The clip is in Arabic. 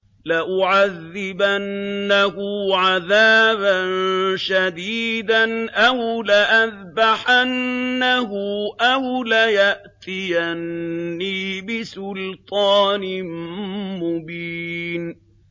لَأُعَذِّبَنَّهُ عَذَابًا شَدِيدًا أَوْ لَأَذْبَحَنَّهُ أَوْ لَيَأْتِيَنِّي بِسُلْطَانٍ مُّبِينٍ